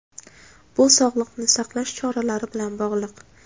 Bu sog‘liqni saqlash choralari bilan bog‘liq.